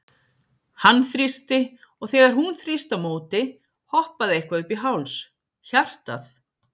Hann þrýsti, og þegar hún þrýsti á móti, hoppaði eitthvað upp í háls hjartað?